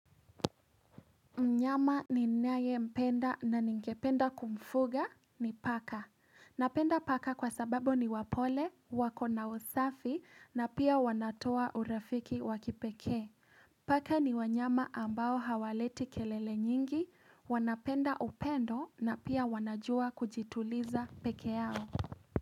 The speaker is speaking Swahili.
Mnyama ni nayempenda na ningependa kumfuga ni paka. Napenda paka kwa sababu ni wapole, wako na usafi na pia wanatoa urafiki wa kipekee. Paka ni wanyama ambao hawaleti kelele nyingi, wanapenda upendo na pia wanajua kujituliza pekee yao.